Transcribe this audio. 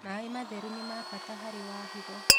Mae matherũ nĩ ma bata harĩ wa hĩgo